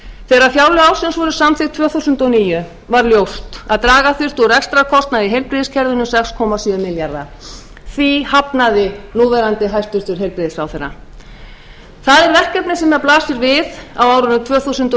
þegar fjárlög ársins voru samþykkt tvö þúsund og níu var ljóst að draga þurfti úr rekstrarkostnaði í heilbrigðiskerfinu um sex komma fimm milljarða því hafnaði núverandi hæstvirtum heilbrigðisráðherra það er verkefni sem blasir við á árinu tvö þúsund og